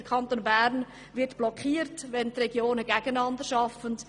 Der Kanton Bern wird blockiert, wenn die Regionen gegeneinander arbeiten.